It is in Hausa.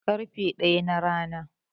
ƙarfe ɗaya na Rana